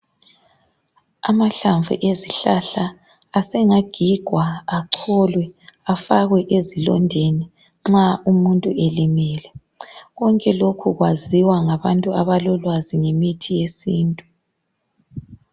Amahlamvu ezihlahla asengagigwa acholwe afakwe ezilondeni nxa umuntu elimele , konke lokhu kwaziwa ngabantu abalolwazi lemithi yesintu